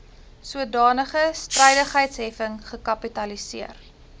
sodanige strydigheidsheffing gekapitaliseer